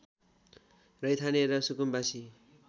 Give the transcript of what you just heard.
रैथाने र सुकुम्बासी